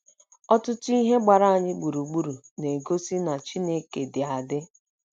Ọtụtụ ihe gbara anyị gburugburu na - egosi na Chineke dị adị